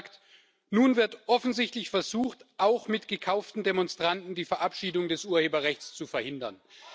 Ich habe gesagt Nun wird offensichtlich versucht, auch mit gekauften Demonstranten die Verabschiedung des Urheberrechts zu verhindern.